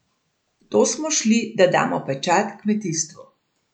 V to smo šli, da damo pečat kmetijstvu.